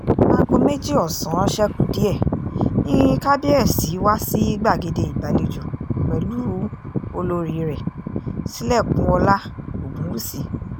aago méjì ọ̀sán ṣe kù díẹ̀ ni kábíẹ́sì wá sì gbàgede ìgbàlejò pẹ̀lú olórí rẹ̀ sílẹ̀kùnọ́lá ogunwúsì